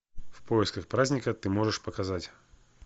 в поисках праздника ты можешь показать